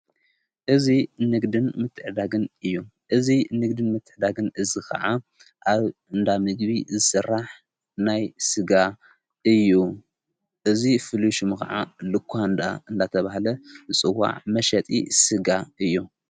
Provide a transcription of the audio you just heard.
እዙይ ንግድን ምትዕዳግን እዩ እዙይ ንግድን ምትሕዳግን እዝ ኸዓ ኣብ እንዳሚግቢ ሥራሕ ናይ ሥጋ እዩ እዝ ፍልሹሚ ኸዓ ልኳንዳ እናተብሃለ ጽዋዕ መሸጢ ሥጋ እዩ።